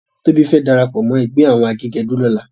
Tobi fè dàrápò mò ègbè áwòn àgégèdú lòlá